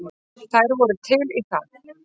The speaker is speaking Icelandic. Þær voru til í það.